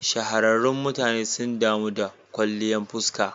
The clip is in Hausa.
Shahararrun mutane sun damu da kwalliyan fuska.